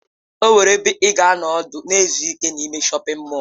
Enwere ebe ị ga-anọ ọdụ na izu ike n'ime shọpin mọll.